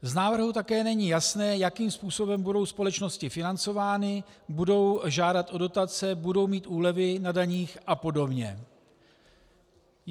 Z návrhu také není jasné, jakým způsobem budou společnosti financovány, budou žádat o dotace, budou mít úlevy na daních a podobně.